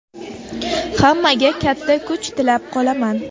Hammaga katta kuch tilab qolaman.